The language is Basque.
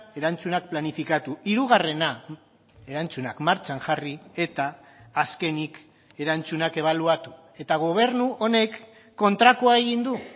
erantzunak planifikatu hirugarrena erantzunak martxan jarri eta azkenik erantzunak ebaluatu eta gobernu honek kontrakoa egin du